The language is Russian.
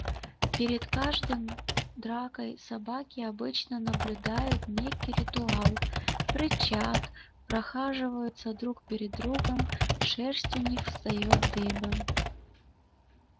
перед каждым дракой собаки обычно соблюдают некий ритуал рычат прохаживаются друг перед другом шерсть у них встаёт дыбом